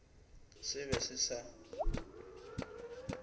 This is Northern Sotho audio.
se be se se sa